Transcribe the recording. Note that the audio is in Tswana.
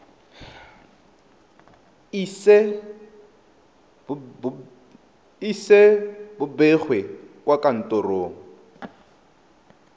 ise bo begwe kwa kantorong